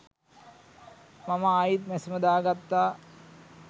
මම ආයිත් මැෂිම දාගත්තා